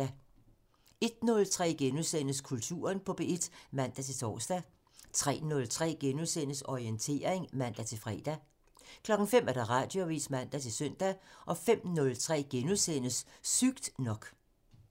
01:03: Kulturen på P1 *(man-tor) 03:03: Orientering *(man-fre) 05:00: Radioavisen (man-søn) 05:03: Sygt nok *(man)